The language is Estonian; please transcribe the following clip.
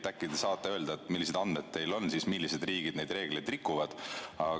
Äkki te saate öelda, millised andmed teil on, millised riigid neid reegleid rikuvad?